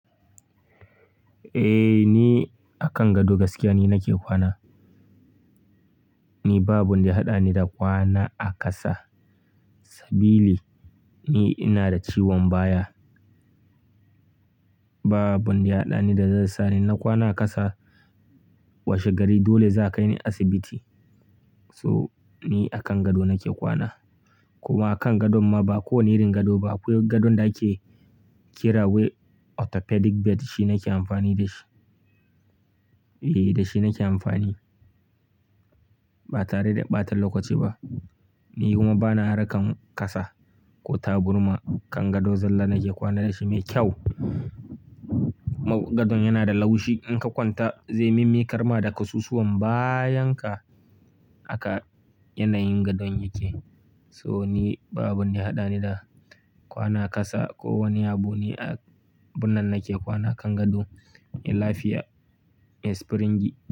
Eh, ni akan gado gaskiya ni nake kwana. Ni ba abun da ya haɗa ni da kwana a ƙasa. Sabili ni ina da ciwon baya. Babu wanda ya haɗa ni da zai sa ni na kwana a ƙasa. Washe gari dole za a kai ni asibiti. So, ni akan gado nake kwana. Kuma kan gadon ma ba kowane irin gado ba. Akwai gadon da ake kira wai orthopedic bed. Shi nake amfani da shi. Eh, da shi nake amfani. Ba tare da ɓata lokaci ba. Ni kuma bana harkan ƙasa ko taburma. Kan gado zalla nake kwana da shi mai kyau. Ma gadon yana da laushi. In ka kwanta zai mimmiƙar ma da ƙasusuwan bayan ka. Haka yanayin gadon yake. So ni ba abun da ya haɗa ni da kwana a ƙasa ko wani abu. Ni a abun nan nake kwana akan gado. Me lafiya, me springi.